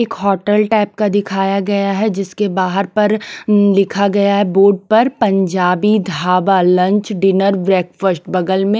एक hotel type का दिखाया गया है जिसके बाहर पर लिखा गया है बोर्ड पर Punjabi dhaba lunch dinner breakfast बगल में--